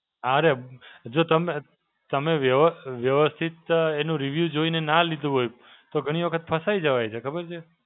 અરે જો તમે તમે વ્યવ વ્યવસ્થિત એનું review જોઈને ના લીધું હોય, તો ઘણી વખત ફસાઈ જવાય છે. ખબર છે?